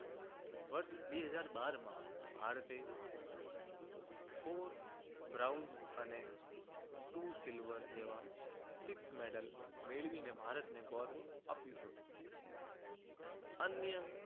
વર્ષ બે હજાર બાર માં ભારતે four bronze અને two silver જેવા six medal મેળવીને ભારતને ગૌરવ આપ્યું હતું. અન્ય